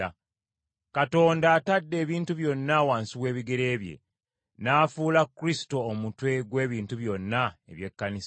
Katonda atadde ebintu byonna wansi w’ebigere bye, n’afuula Kristo omutwe gw’ebintu byonna eby’ekkanisa,